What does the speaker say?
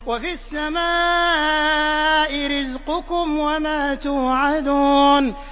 وَفِي السَّمَاءِ رِزْقُكُمْ وَمَا تُوعَدُونَ